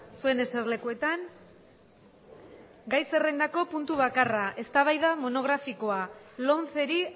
zuen eserlekuetan eseri gai zerrendako puntu bakarra eztabaida monografikoa lomceri